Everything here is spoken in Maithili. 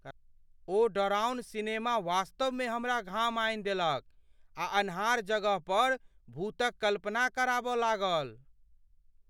ओ डराओन सिनेमा वास्तवमे हमरा घाम आनि देलक आ अन्हार जगह पर भूतक कल्पना कराब लागल ।